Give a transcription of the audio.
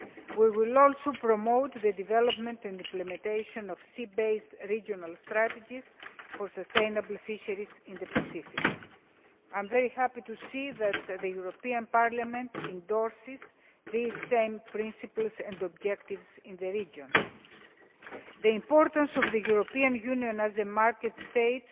We will also promote the development and implementation of sea based regional strategies for sustainable fisheries in the Pacific. I am very happy to see that the European Parliament endorses these same principles and objectives in the region. The importance of the European Union as a market state